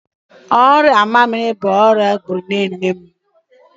Ọrịa mamịrị bụ ọria gbụrụ nne nne m.